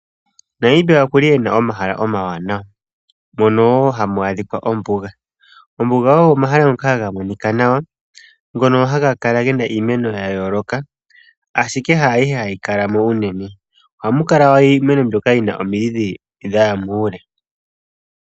Namibia okuna omahala omawanawa mono hamu adhika ombuga. Ombuga oyo ehala ndyoka hali monika nawa . Ndyono hali kala lina iimeno ya yooloka ashike haayihe hayi kala mo unene. Ohamu kala iimeno mbyoka yina omidhi dhaya muule.